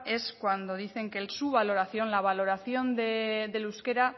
es cuando dicen que su valoración la valoración del euskera